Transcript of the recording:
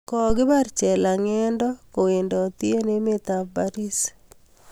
kokibar chelangendo kowendati eng emet ab Paris